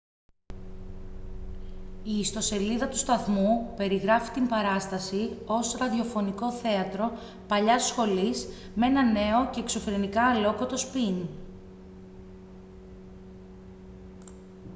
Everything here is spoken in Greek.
η ιστοσελίδα του σταθμού περιγράφει την παράσταση ως «ραδιοφωνικό θέατρο παλιάς σχολής με ένα νέο και εξωφρενικά αλλόκοτο σπιν»